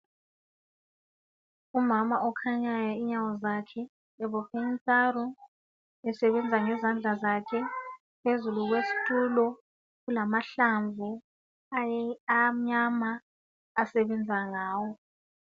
Umama okhanyayo inyawo zakhe ebophe izambiya esebenza ngezandla zakhe phezulu kwesitulo kulamahlamvu amnyama asebenza ngawo